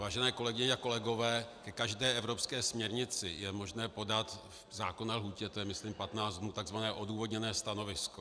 Vážené kolegyně a kolegové, ke každé evropské směrnici je možné podat v zákonné lhůtě, to je myslím 15 dnů, takzvané odůvodněné stanovisko.